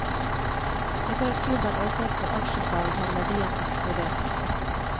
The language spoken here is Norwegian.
Etter at klubben åpnet for aksjesalg, har verdien eksplodert.